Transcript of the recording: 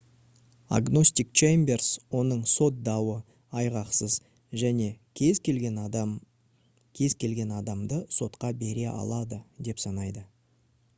агностик чеймберс оның сот дауы «айғақсыз» және «кез келген адам кез келген адамды сотқа бере алады» деп санайды